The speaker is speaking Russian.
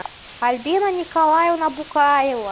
альбина николаевна букаева